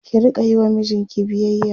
ki Rika Yi wa mijinki biyayya